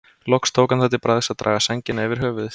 Loks tók hann það til bragðs að draga sængina yfir höfuðið.